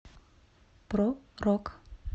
про рок